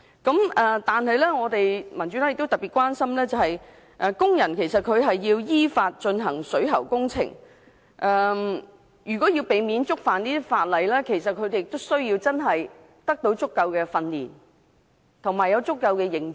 但是，民主黨特別關心，工人如要依法進行水喉工程，避免觸犯有關法例，他們需要得到足夠的訓練，以及要有足夠的認知。